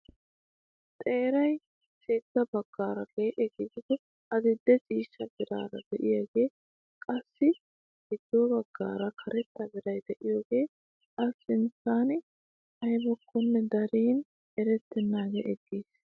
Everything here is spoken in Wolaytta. Xeeray sintta baggaara lee'e gidido adil'e ciishsha meraara de'iyaagee qassi giddo baggara karetta meray de'iyaagee a sunttay aybakonne darin erettanagee eqqiis.